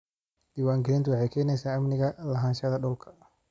Diiwaangelintu waxay keenaysaa amniga lahaanshaha dhulka.